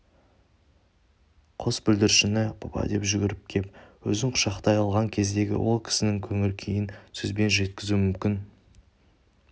қос бүлдіршіні папа деп жүгіріп кеп өзін құшақтай алған кездегі ол кісінің көңіл күйін сөзбен жеткізу мүмкін